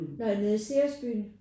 Når nede i Ceres Byen?